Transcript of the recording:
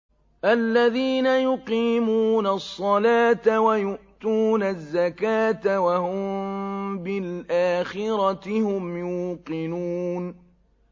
الَّذِينَ يُقِيمُونَ الصَّلَاةَ وَيُؤْتُونَ الزَّكَاةَ وَهُم بِالْآخِرَةِ هُمْ يُوقِنُونَ